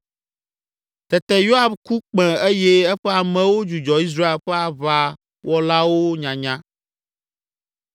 Tete Yoab ku kpẽ eye eƒe amewo dzudzɔ Israel ƒe aʋawɔlawo nyanya.